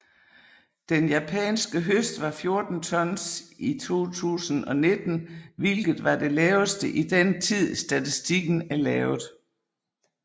Den japanske høst var 14 tons i 2019 hvilket var det laveste i den tid statistikken er lavet